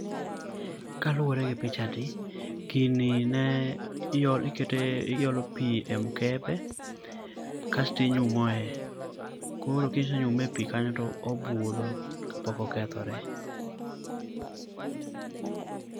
Kaluwore gi pichani, gini ne ike iolo pi e mkebe kas tinyumoe. Koro kise nyume e pi kanyo to obudho kapok okethore.